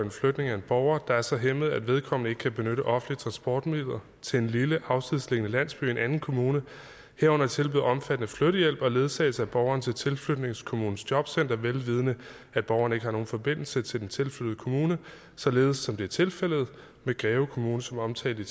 en flytning af en borger der er så hæmmet at vedkommende ikke kan benytte offentlige transportmidler til en lille afsidesliggende landsby i en anden kommune herunder tilbyder omfattende flyttehjælp og ledsagelse af borgeren til tilflytningskommunens jobcenter vel vidende at borgeren ikke har nogen forbindelse til den tilflyttede kommune således som det er tilfældet med greve kommune som omtalt i